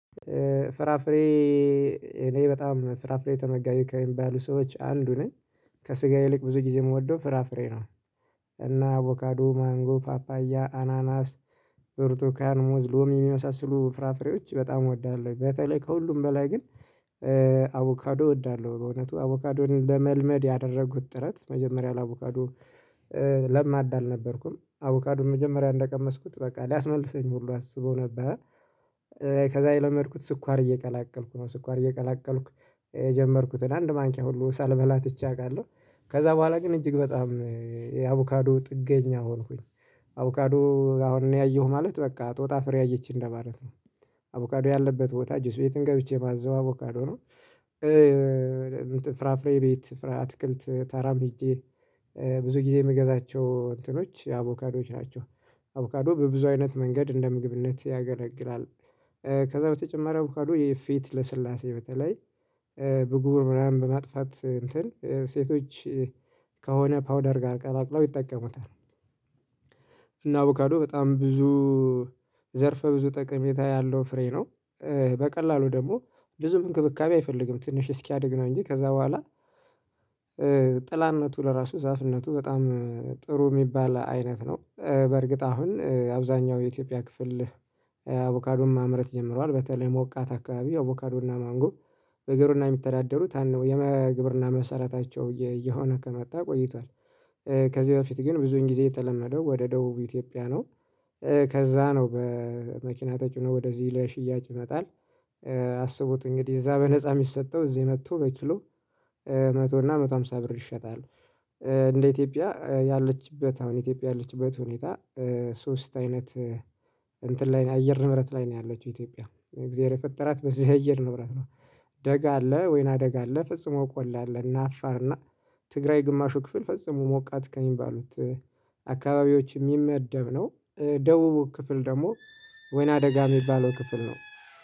ፍራፍሬ እኔ በጣም ፍራፍሬ ተመጋቢ ከሚባሉ ሰዎች አንዱ ነኝ። ከስጋ ይልቅ ብዙ ጊዜ የምወደው ፍራፍሬ ነው። እና አቮካዶ: ማንጎ: ፓፓያ: አናናስ: ብርቱካን: ሙዝ: ሎሚ የሚመሳስሉ ፍራፍሬዎች በጣም እወዳለሁ በተለይ ከሁሉም በላይ ግን አቮካዶ እወዳለሁ። በእውነቱ አቮካዶን ለመልመድ ያደረጉት ጥረት መጀመሪያ ለአቮካዶ ለማዳ አልነበርኩም። አቮካዶን መጀመሪያ እንደቀመስኩት በቃ ሊያስመልሰኝ ሁሉ አስቦ ነበር ከዛ የለመድኩት ስኳር እየቀላቀልኩ ነው ስኳር እየቀላቀልኩ የጀመርኩትን አንድ ማንኪያ ሁሉ ሳልበላ ትቼ አውቃለሁ ከዛ በኋላ ግን እጅግ በጣም የአቮካዶ ጥገኛ ሆንኩኝ አቮካዶ አሁንኔ አየሁ ማለት በቃ ጦጣ ፍሬ አየች እንደማለት ነው አቮካዶ ያለበት ቦታ ጁስ ቤትም ገብቼ ማዘው አቮካዶ ነው ፍራፍሬ ቤት አትክልት ተራም ሄጄ ብዙ ጊዜ የምገዛቸው እንትኖች የአቮካዶዎች ናቸው አቮካዶ በብዙ አይነት መንገድ እንደ ምግብነት ያገለግላል ከዛ በተጨማሪ አቮካዶ የፌት ልስላሴ በተለይ ቡጉር ምናምን በማጥፋት እንትን ሴቶች ከሆነ ፓውደር ጋር ቀላቅለው ይጠቀሙታል እና አቡካዶ በጣም ብዙ ዘርፈ ብዙ ጠቀሜታ ያለው ፍሬ ነው በቀላሉ ደግሞ ብዙ እንክብካቤ አይፈልግም ትንሽ እስኪያድግ ነው እንጂ ከዛ በኋላ ጥላነቱ ለራሱ ዛፍነቱ በጣም ጥሩ ሚባል አይነት ነው በእርግጥ አሁን አብዛኛው የኢትዮጵያ ክፍል አቮካዶን ማምረት ጀምሯል በተለይ ሞቃት አካባቢ አቮካዶና ማንጎ በግብርና የሚተዳደሩት አንዱ የግብርና መሰረታቸው እየሆነ ከመጣ ቆይቷል። ከዚህ በፊት ግን ብዙን ጊዜ የተለመደው ወደ ደቡብ ኢትዮጵያ ነው ከዛ ነው በመኪና ተጭኖ ወደዚህ ለሽያጭ ይመጣል አስቡት እንግዲህ እዛ በነፃ ሚሰጠው እዚህ መጥቶ በኪሎ መቶ እና መቶ ሃምሳ ብር ይሸጣል። እንደ ኢትዮጵያ ያለችበት አሁን ኢትዮጵያ ያለችበት ሁኔታ ሶስት አይነት እንትን ላይ አየር ንብረት ላይ ነው ያለችው ኢትዮጵያ እግዜር የፈጠራት በዚህ አየር ንብረት ነው። ደጋ አለ ወይና ደጋ አለ ፈጽሞ ቆላ አለ እና አፋር እና ትግራይ ግማሹ ክፍል ፈጽሞ ሞቃት ከሚባሉት አካባቢዎች የሚመደብ ነው ደቡቡ ክፍል ደግሞ ወይና ደጋ የሚባለው ክፍል ነው